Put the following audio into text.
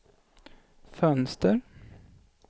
fönster